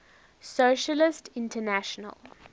socialist international